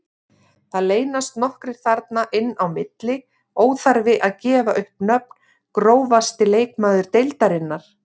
Það leynast nokkrir þarna inn á milli, óþarfi að gefa upp nöfn Grófasti leikmaður deildarinnar?